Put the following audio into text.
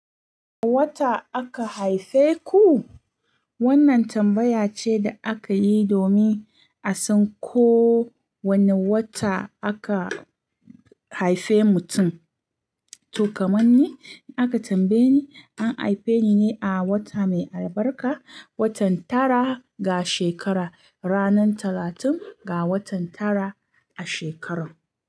A wata aka haife ku? Wannan tambaya ce da aka yi domin a san ko wane wata aka haife mutum. To kaman ni, in aka tambaye ni, an haife ni ne a wata mai albarka, watan tara ga shekara, ranar talatin ga watan tara a shekarar.